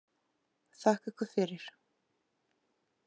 Þakka ykkur fyrir